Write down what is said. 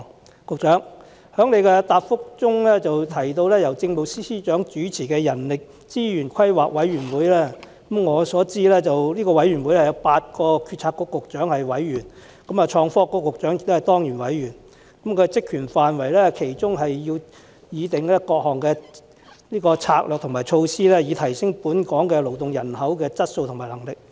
以我所知，局長在主體答覆中提到由政務司司長主持的人力資源規劃委員會，這個委員會由8個政策局局長擔任委員，創新及科技局局長也是當然委員，其職權範圍包括擬訂各項策略和措施，以提升本港勞動人口的質素和能力。